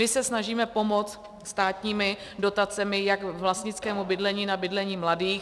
My se snažíme pomoct státními dotacemi jak vlastnickému bydlení na bydlení mladých.